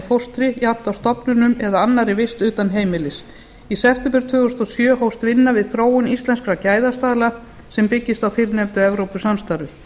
fóstri jafnt á stofnunum eða annarri vist utan heimilis í september tvö þúsund og sjö hófst vinna við þróun íslenskra gæðastaðla sem byggist á fyrrnefndu evrópusamstarfi